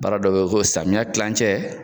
Baara dɔ bɛ ko samiya kilancɛ.